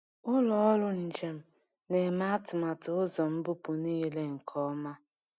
Ụlọ ọrụ njem na-eme atụmatụ ụzọ mbupu niile nke ọma.